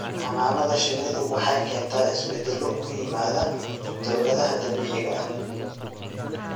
Xannaanada shinnidu waxay keentaa isbeddelo ku yimaada dawladaha dabiiciga ah.